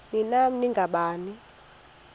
ni nam nangani